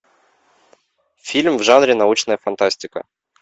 фильм в жанре научная фантастика